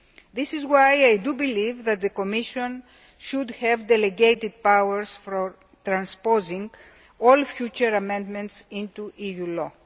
This is why I believe that the Commission should have delegated powers for transposing all future amendments into EU law.